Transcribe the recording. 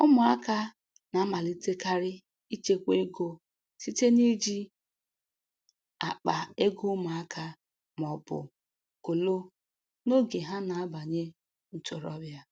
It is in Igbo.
Ụmụaka na-amalitekarị ịchekwa ego site n’iji akpa ego ụmụaka ma ọ bụ kolo n’oge ha na-abanye ntorobịa.